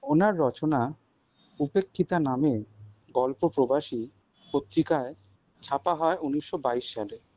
ওনার রচনা উপেক্ষিতা নামে গল্প প্রবাসী পত্রিকায় ছাপা হয় উনিশ বাইশ সালে।